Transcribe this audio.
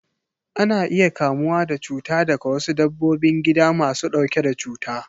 Ana iya kamuwa da cuta daga wasu dabbobin gida masu ɗauke da cuta.